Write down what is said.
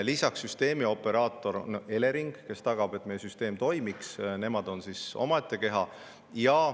Lisaks on süsteemioperaator Elering, kes tagab, et meie süsteem toimiks, see on omaette keha.